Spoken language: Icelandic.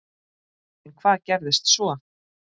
En hvað gerðist svo?